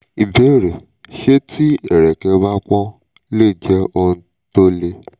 ìbéèrè: ṣé tí ẹ̀rẹ̀kẹ́ bá pọ́n lè jẹ́ ohun tó le?